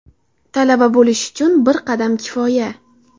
Talaba bo‘lish uchun bir qadam kifoya!.